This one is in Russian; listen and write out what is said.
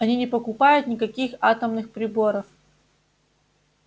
они не покупают никаких атомных приборов